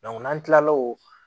n'an kilala o